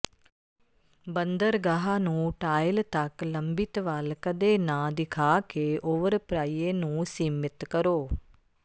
ਬੰਦਰਗਾਹ ਨੂੰ ਟਾਇਲ ਤੱਕ ਲੰਬਿਤ ਵੱਲ ਕਦੇ ਨਾ ਦਿਖਾ ਕੇ ਓਵਰਪ੍ਰਾਈਏ ਨੂੰ ਸੀਮਿਤ ਕਰੋ